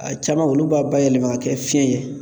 A caman olu b'a bayɛlɛma ka kɛ fiɲɛ ye